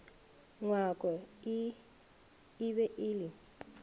ngwako e be e le